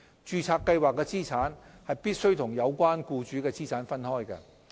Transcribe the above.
註冊計劃的資產必須與有關僱主的資產分開。